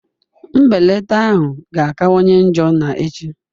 Mbelata ahụ ga-akawanye njọ na echi